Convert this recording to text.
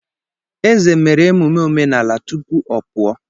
Eze mere emume omenala tupu ọ pụọ.